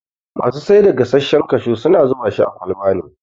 Masu saida gasashshen kashu suna zubashi a kwalba ne